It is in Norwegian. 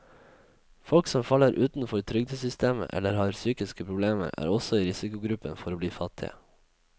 Folk som faller utenfor trygdesystemet eller har psykiske problemer, er også i risikogruppen for å bli fattige.